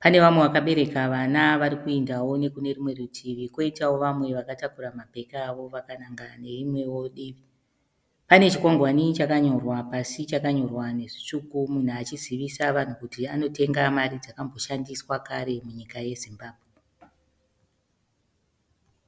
Pane vamwe vakabereka vana vari kuendawo nekune rumwe rutivi, kwoitawo vamwe vakatakura mabheke avo vakananga neimwewo divi. Pane chikwangwani chakanyorwa pasi chakanyorwa nezvitsvuku, munhu achizivisa vanhu kuti anotenga mari dzakamboshandiswa kare munyika yeZimbabwe.